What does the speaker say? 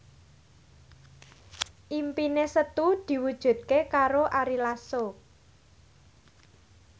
impine Setu diwujudke karo Ari Lasso